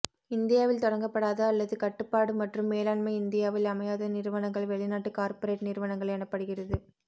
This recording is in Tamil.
இந்தியாவில் தொடங்கப்படாத அல்லது கட்டுப்பாடு மற்றும் மேலாண்மை இந்தியாவில் அமையாத நிறுவனங்கள் வெளிநாட்டுக் கார்ப்பரேட் நிறுவனங்கள் எனப்படுகிறது